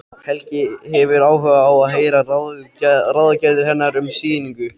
Helgi hefur áhuga á að heyra ráðagerðir hennar um sýningu.